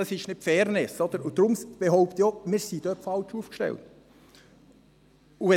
Das ist keine Fairness, und deshalb behaupte ich auch, dass wir dort falsch aufgestellt sind.